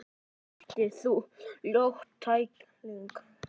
Hvernig meiddist þú, ljót tækling?